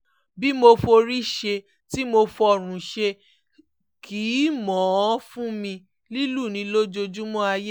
bí mo forí ṣe tí mo fọ́rùn ṣe kì í mọ̀ ọ́n fún mi lílù ni lójoojúmọ́ ayé